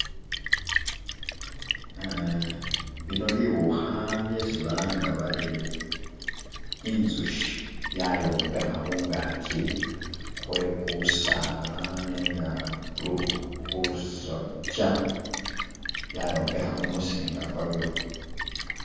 bino biukha byesi balanga bari inzushi byayombekha khungakyi khwekusaala nenga khulusokya byayombekha kumusinga kwayo.